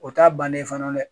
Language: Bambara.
O t'a bannen fana dɛ